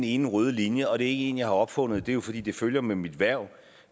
én rød linje og det er ikke en jeg har opfundet men det er jo fordi det følger med mit hverv